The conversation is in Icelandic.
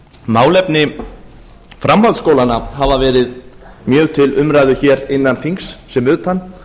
hæstvirtur forseti málefni framhaldsskólanna hafa verið mjög til umræðu hér innan þings sem utan